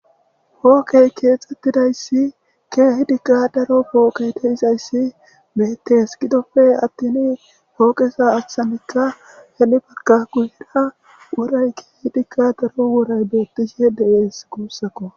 Pooqe keexetidaysi keehipe daro gidizaysi beetes gidoppe attini pooqeza achanika henipeka guye bagara woray keehidika daro woray beetishe de'es gusako.